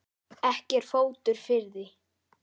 Ekki er fótur fyrir því.